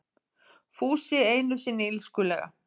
Fúsi einusinni illskulega.